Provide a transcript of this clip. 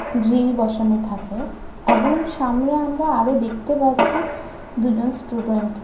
grill বসানো থাকে এবং সামনে আমরা আরো দেখতে পাচ্ছি দুজন স্টুডেন্ট --